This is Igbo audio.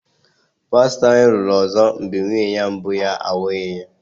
pastọ anyị lụrụ ọzọ mgbe nwunye mbụ ya nwụnahụrụ ya.